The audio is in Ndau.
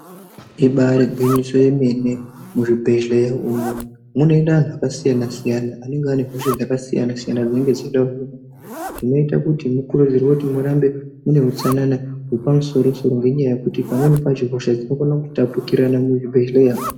Ibare gwinyiso remene ,muzvibhedlera umo mune anhu vakasiyana siyana vanenge vaine hosha dzakasiyana siyana dzinenge dzichida. Zvinoita kuti mukurudzirwe murambe muine hutsanana wepamusoro soro nenyaya yekuti pamweni pacho hosha dzinokona kutapukirana muzvibhedleya.